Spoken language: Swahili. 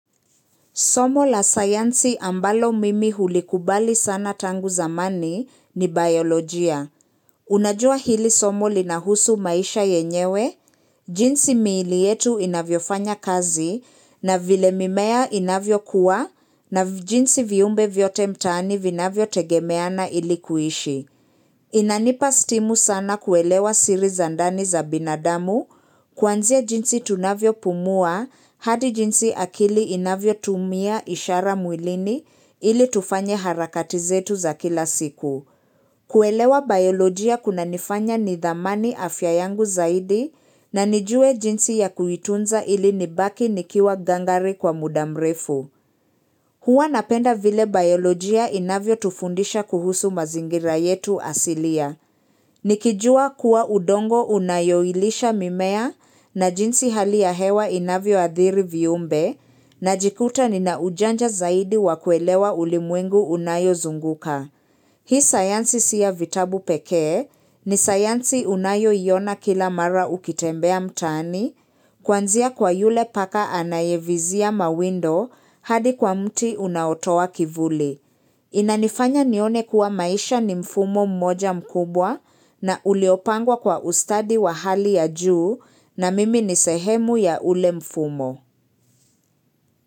Somo la sayansi ambalo mimi hulikubali sana tangu zamani ni biolojia. Unajua hili somo linahusu maisha yenyewe, jinsi miili yetu inavyofanya kazi na vile mimea inavyokuwa na jinsi viumbe vyote mtaani vinavyotegemeana ili kuishi. Inanipa stimu sana kuelewa siri za ndani za binadamu, kuanzia jinsi tunavyopumua hadi jinsi akili inavyotumia ishara mwilini ili tufanye harakati zetu za kila siku. Kuelewa biolojia kunanifanya nidhamani afya yangu zaidi na nijue jinsi ya kuitunza ili nibaki nikiwa gangari kwa muda mrefu. Hua napenda vile biolojia inavyotufundisha kuhusu mazingira yetu asilia. Nikijua kuwa udongo unayoilisha mimea na jinsi hali ya hewa inavyo adhiri viumbe najikuta nina ujanja zaidi wa kuelewa ulimwengu unayozunguka. Hii sayansi si ya vitabu pekee, ni sayansi unayoiona kila mara ukitembea mtaani, kuanzia kwa yule paka anayevizia mawindo hadi kwa mti unaotowa kivuli. Inanifanya nione kuwa maisha ni mfumo mmoja mkubwa na uliopangwa kwa ustadi wa hali ya juu na mimi nisehemu ya ule mfumo.